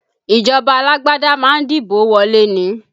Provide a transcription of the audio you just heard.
Ìjọba alágbádá ma ń dìbò wọlé ni